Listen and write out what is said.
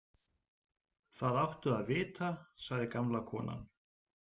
Það áttu að vita, sagði gamla konan.